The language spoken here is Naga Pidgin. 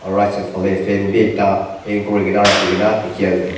fan bi ekta hang kuri kena rakhi kena dikhi ase.